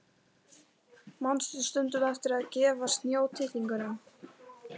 Manstu stundum eftir því að gefa snjótittlingunum?